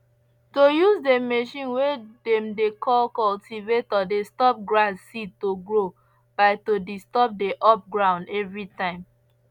to use the machine way dem dey call cultivator dey stop grass seed to grow by to disturb the up ground every time